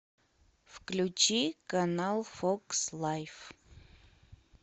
включи канал фокс лайф